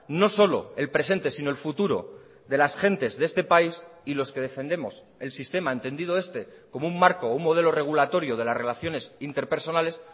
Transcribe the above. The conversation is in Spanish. no solo el presente sino el futuro de las gentes de este país y los que defendemos el sistema entendido este como un marco un modelo regulatorio de las relaciones interpersonales